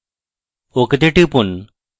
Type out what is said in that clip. ok তে টিপুন